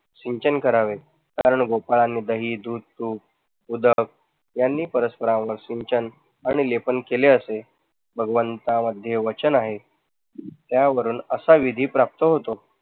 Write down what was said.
सिंचन करावे. बाळगोपाळांनी दही, दुध, तूप, यांनी परस्परांवर सिंचन आणि लेपण केले असे भगवंता मध्ये वाचन आहे. त्या वरून असा विधी प्राप्त होतो.